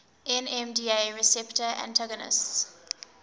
nmda receptor antagonists